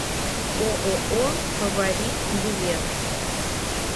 ооо фаворит билет